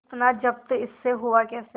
इतना जब्त इससे हुआ कैसे